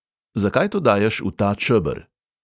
Zakaj to daješ v ta čeber?